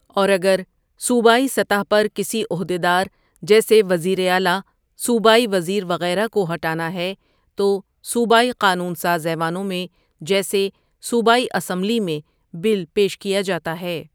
اور اگر صوبائی سطح پر کسی عہدیدار جیسے وزیراعلیٰ، صوبائی وزیر، وغیرہ کو ہٹانا ہے تو صوبائی قانون ساز ایوانوں میں جیسے صوبائی اسمبلی میں بل پیش کیا جاتا ہے۔